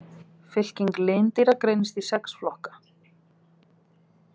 Fylking lindýra greinist í sex flokka.